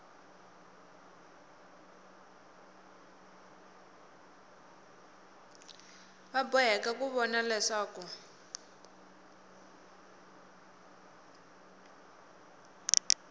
va boheka ku vona leswaku